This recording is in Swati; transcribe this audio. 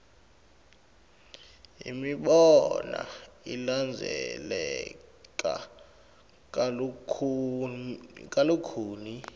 imibono ilandzeleka kalukhuni